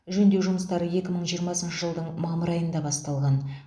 жөндеу жұмыстары екі мың жиырмасыншы жылдың мамыр айында басталған